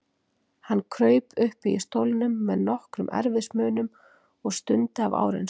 Hann kraup uppi í stólnum með nokkrum erfiðismunum og stundi af áreynslu.